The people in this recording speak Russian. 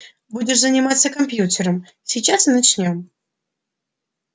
будешь заниматься компьютером сейчас и начнём